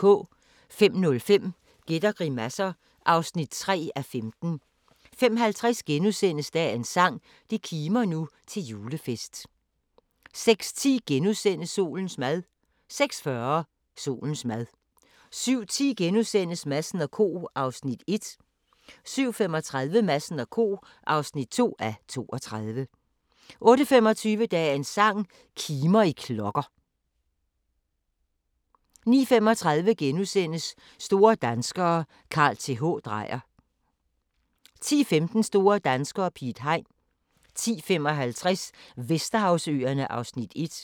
05:05: Gæt og grimasser (3:15) 05:50: Dagens sang: Det kimer nu til julefest * 06:10: Solens mad * 06:40: Solens mad 07:10: Madsen & Co. (1:32)* 07:35: Madsen & Co. (2:32) 08:25: Dagens sang: Kimer i klokker 09:35: Store danskere - Carl Th. Dreyer * 10:15: Store danskere - Piet Hein 10:55: Vesterhavsøerne (1:5)